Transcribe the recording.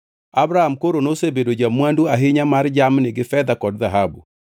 Abram koro nosebedo ja-mwandu ahinya mar jamni gi fedha kod dhahabu.